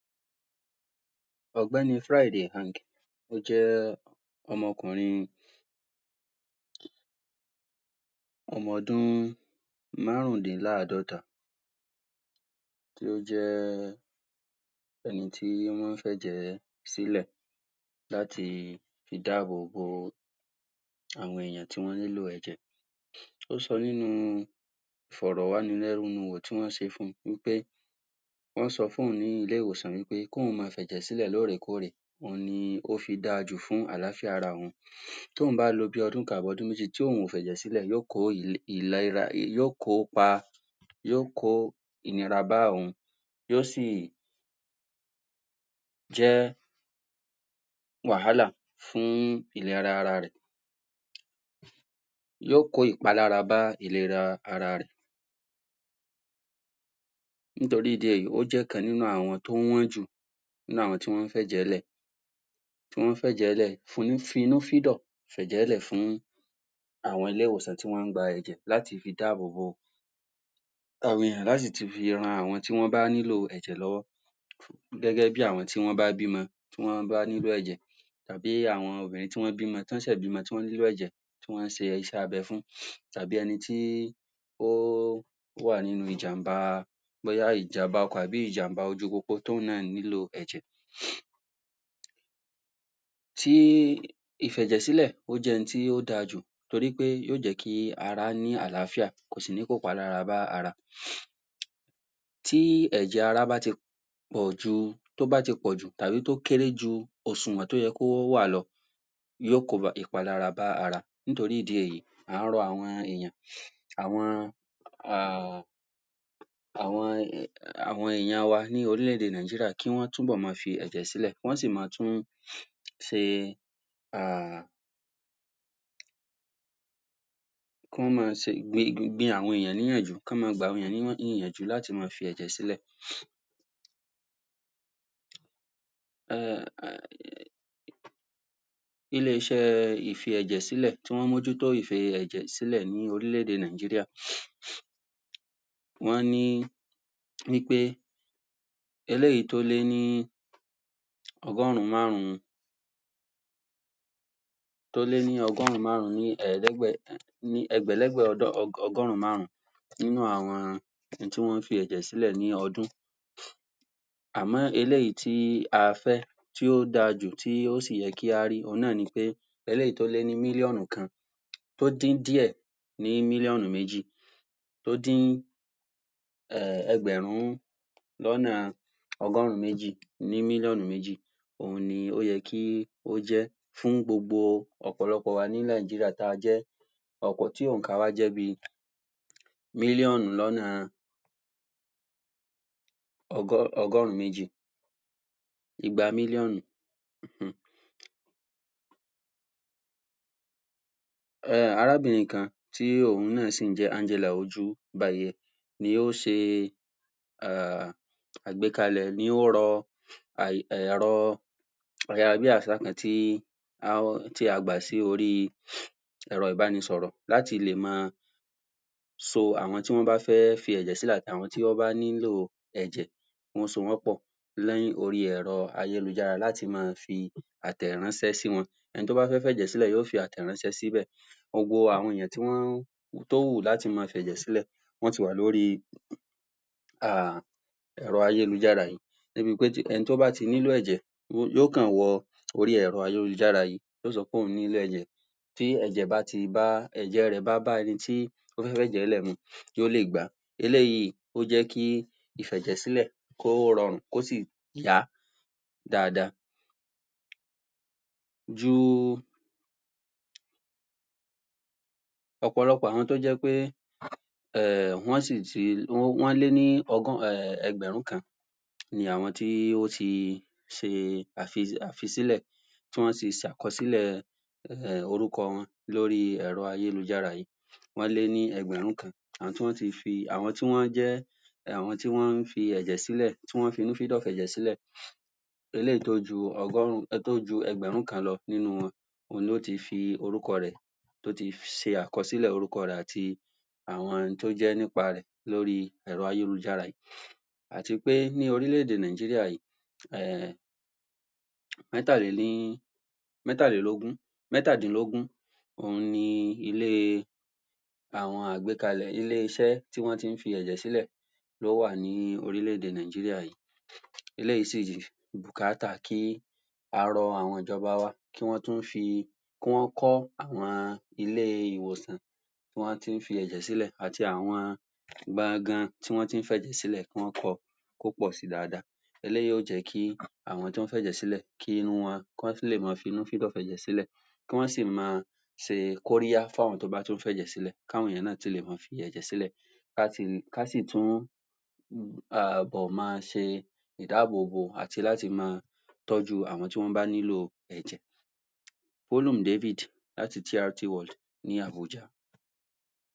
Ọ̀gbẹ́ni [Friday Hang] ó jẹ́ ọmọkùnrin ọmọ ọdún márùndínláàdọ́ta tí ó jẹ́ ẹni tí wọ́n fẹ́ jẹ sílẹ̀ láti fi dáàbòbò àwọn èèyàn tí wọ́n nílò ẹ̀jẹ̀ ó sọ nínú ìfọ̀rọ̀wánilẹ́nuwò tí wọ́n ṣe fún wí pé wọ́n sọ fún òun ní ilé-ìwòsàn wí pé kí òun ma fi ẹ̀jẹ̀ sílẹ̀ lóòrèkórè ó fi dáajù fún àlááfíà ara wọn tóun bá lo bí i ọdún kan àbí odún méjì ti òun ò fẹ̀jẹ̀ sílẹ̀, yóò kó ìlera, yóò kó pa yóò kó ìnira bá òun, yóò sì jẹ́ wàhálà fún ìlera ara rẹ̀ yóò kó ìpalára bá ìlera ara rẹ̀ nítorí ìdí èyí, ó jẹ́ ìkan nínú àwọn tó wọ́n jù nínú àwọn tí wọ́n fẹ̀jẹ̀ lẹ̀ wọ́n fẹ̀jẹ̀ lẹ̀, fínu fídọ̀ fẹ̀jè lẹ̀ fún àwọn ilé-ìwòsàn tí wọ́n ń gba ẹ̀jẹ̀ láti fi dábòbò àwọn èèyàn lá sì ti fi ran àwọn tí wọ́n bá nílò ẹ̀jẹ̀ lọ́wọ́ gẹ́gẹ́ bí àwọn tí wọ́n bá bímọ tí wọ́n bá nílò ẹ̀jẹ̀ tàbí àwọn obìnrin tí wọ́n bímọ, tán ṣẹ̀ bímọ tí wọ́n nílò ẹ̀jẹ̀ tí wọ́n ṣe iṣẹ́ abẹ fún tàbí ẹnití ó wà nínú ìjàmbá bóyá ìjàmbá ọkọ̀ àbí ìjàmbá ojú-pópó tí òun náà nílò ẹ̀jẹ̀ Tí ìfẹ̀jẹ̀ sílẹ̀, ó jẹ́ ohun tó dajù torípé yóò jẹ́kí ara ní àlááfíà kò sì ní kó ìpalára bá ara Tí ẹ̀jẹ̀ ara bá ti pọ̀ju, tó bá ti pọ̀jù tàbí tó kéré ju òṣùwọ̀n tó yẹ kó wà lọ yóò kó ìpalára bá ara nítorí ìdí èyí à ń rọ àwọn èèyàn àwọn um àwon, àwọn èèyàn wa ní orílẹ́-èdè Nàìjíríà kí wọ́n tún bọ̀ ma fi ẹ̀jẹ̀ sílẹ̀, kí wọ́n sì ma tún ṣe um kán ma ṣe, gbin, gbin àwọn èèyàn níyànjú, kán ma gba àwọn èèyan níyàn ní ìyanjú láti ma fi ẹ̀jẹ̀ sílẹ̀ um ilé-iṣẹ́ ìfi-ẹ̀jẹ̀-sílẹ̀ tí wọ́n mójútó ìfi-ẹ̀jẹ̀-sílẹ̀ ní orílẹ̀-èdè Nàìjíríà wọ́n ní wí pé eléyìí tó lé ní ọgọ́run márùn-ún tó lé ní ọgọ́run márùn-ún ni èédẹ́gbẹ̀ ní ẹgbẹ̀lẹ́gbẹ́ ọgọ́run márùn-ún nínú àwọn ẹni tí wọ́n fi ẹ̀jẹ̀ sílẹ̀ ní ọdún Àmọ́ eléyìí tí a fẹ́ tí ó dajù tí ó sì yẹ kí á rí, òhun náà ni pé eléyìí tí ó lé ní mílíọ̀nù kan tó dín díẹ̀ ní mílíọnu méjì tó dín ẹgbẹ̀rún lọ́nà ọgọ́rùn méjì ní mílíọ̀nù mẹ́jì òhun ni ó yẹ kí ó jẹ́ fún gbogbo ọ̀pọ̀lọpọ̀ wa ní Nàìjíríà ta jẹ́ ọ̀pọ̀ tí ònkà wa jẹ́ bi mílíọ̀nù lọ́nà ọgọ́, ọgọ́rù-ún méjì igba mílíọ̀nù um arábìnrin kan tí òun náà sì ń jẹ́ [Angela] Ojúbáìyẹ́ ni ó ṣe um àgbékalẹ̀ ni ó rọ, àì, ẹ̀rọ ayárabíàṣá kan tí tí a gbà sí orí ẹ̀rọ ìbánisọ̀rọ̀ láti lè ma so àwọn tí wọ́n bá fẹ́ fi ẹ̀jẹ̀ sílẹ̀ àti àwọn tí wọ́n bá nílò ẹ̀jẹ̀, kí wọ́n so wọ́n pọ̀ ní orí ẹ̀rọ-ayélujára láti máa fi àtẹ̀ránṣẹ sí wọn ẹni tó bá fẹ́ fi ẹ̀jẹ̀ sílẹ̀ yóò fi àtẹ̀ránṣẹ́ sí bẹ̀ gbogbo àwọn èèyàn tí wọ́n, tó wù láti máa fẹ̀jẹ̀ sílẹ̀, wọ́n ti wà lórí um ẹ̀rọ-ayélujára yìí débipé ẹnití ó bá ti nílò ẹ̀jẹ̀ yóò kan wọ orí ẹ̀rọ-ayélujára yóò sọ pé òun nílò ẹ̀jẹ̀ tí ẹ̀jẹ̀ bá ti bá ẹ̀jẹ̀ rẹ̀ bá bá ẹnití ó fẹ́ fẹ̀jẹ̀ rẹ lẹ̀ mu yóò lè gba eléyìí ó jẹ́ kí ìfẹ̀jẹ̀ sílẹ̀ kó rọrùn, kó sì ya dáada ju ọ̀pọ̀lọpọ̀ àwọn tó jẹ́ pé um wọ́n sì ti, wọ́n lé ní um ẹgbẹ̀rún kan ni àwọn tí ó ti ṣe àfi àfisílẹ̀, tí wọ́n ti ṣe àkọsílẹ̀ um orúkọ wọn lórí ẹ̀rọ-ayélujára yìí, wọ́n lé ní ẹgbẹ̀rún kan àwọn tí wọ́n ti fi, àwọn tí wọ́n jẹ́ àwọn tí wọ́n ń fi ẹ̀jẹ̀ sílẹ̀, tí wọ́n finú fídọ̀ fẹ̀jẹ̀sílẹ̀ eleyìí tó ju ọgọrùn-ún tó ju ẹgbẹ̀rún kan lọ nínú wọn òun ni ó ti fi orúkọ rẹ̀ tó ti ṣe àkọsílẹ̀ orúkọ rè àti àwọn ohun tó jẹ́ nípa rẹ̀ lóri ẹ̀rọ-ayélujára yìí àti pé ní orílẹ̀-èdè Nàìjíríà yìí um mẹ́tàléní métàlélógún mẹ́tàdínlógún òhun ni ilé àwọn agbékalẹ̀ ilé-iṣẹ́ tí wọ́n tí ń fi ẹ̀jẹ̀ sílẹ̀ ló wà ní orílẹ̀-èdè Nàìjíríà yìí eléyìí sì bùkátà kí a rọ àwọn ìjọba wa kí wọ́n tún fi, kí wọ́n kọ́ àwọn ilé-ìwòsàn tí wọ́n tí ń fi ẹ̀jẹ̀ sílẹ̀ àti àwọn gbanga tí wọ́n tí ń fi ẹ̀jẹ̀ sílẹ̀, kí wọ́n kọ kó pọ̀ si dáada eléyìí yóò jẹ́ kí àwọn tó ń fẹ̀jẹ̀ sílẹ̀, kí irú wọn, kán tún lè ma finú fẹ̀dọ̀ fẹ̀jẹ̀ sílẹ̀ kí wọ́n sì ma ṣe kóríyá fún àwọn tó bá tún fẹ̀jẹ̀ sílẹ̀, káwọn èèyàn náà tún lè ma fi ẹ̀jẹ̀ sílẹ̀ ká sì tún um bọ̀ máa ṣe dábòbò àti láti ma tọ́jú àwọn tíwọ́n nílò Hulum David láti TRT ní Abuja